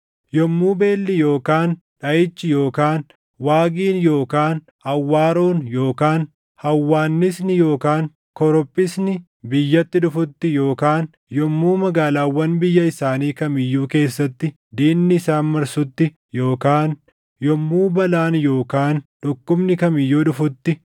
“Yommuu beelli yookaan dhaʼichi yookaan waagiin yookaan awwaaroon yookaan hawwaannisni yookaan korophisni biyyatti dhufutti, yookaan yommuu magaalaawwan biyya isaanii kam iyyuu keessatti diinni isaan marsutti, yookaan yommuu balaan yookaan dhukkubni kam iyyuu dhufutti,